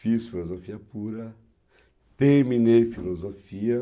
Fiz filosofia pura, terminei filosofia.